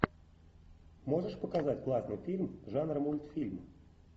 можешь показать классный фильм жанра мультфильм